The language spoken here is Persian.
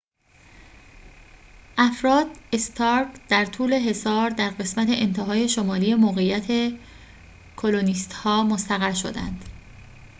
افراد استارک در طول حصار در قسمت انتهای شمالی موقعیت کلونیست‌ها مستقر شدند